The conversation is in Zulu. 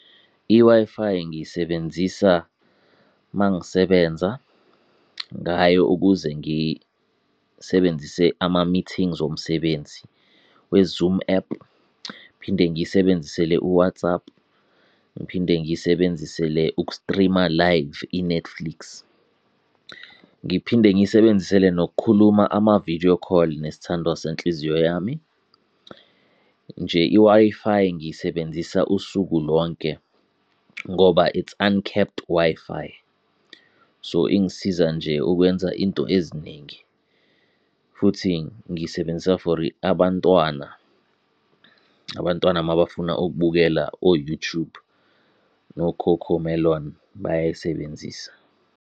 I-Wi-Fi ngiyisebenzisa mangisebenza ngayo ukuze ngisebenzise ama-meetings omsebenzi we-Zoom ephu, phinde ngiyisebenzisele u-WhatsApp, ngiphinde ngiyisebenzisele uku-stream-a live i-Netflix, ngiphinde ngiyisebenzisele nokukhuluma ama-video call nesithandwa senhliziyo yami. Nje, i-Wi-Fi ngiyisebenzisa usuku lonke ngoba it's uncapped Wi-Fi, so ingisiza nje ukwenza into eziningi. Futhi ngiyisebenzisa for abantwana abantwana mabafuna ukubukela o-YouTube, no-CoComelon bayayisebenzisa.